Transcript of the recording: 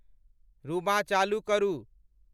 रूंबा चालू करु